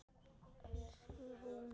Elsku Rúnar.